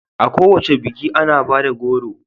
A kowace biki ana bada goro